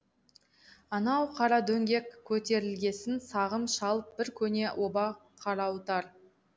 анау қара дөңге көтерілгесін сағым шалып бір көне оба қарауытар